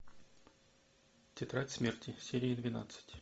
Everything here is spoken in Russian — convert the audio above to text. тетрадь смерти серия двенадцать